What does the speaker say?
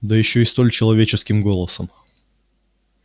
да ещё и столь человеческим голосом